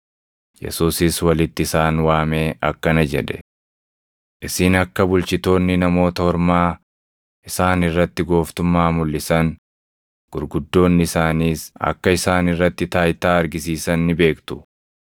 Yesuusis walitti isaan waamee akkana jedhe; “Isin akka bulchitoonni Namoota Ormaa isaan irratti gooftummaa mulʼisan, gurguddoonni isaaniis akka isaan irratti taayitaa argisiisan ni beektu.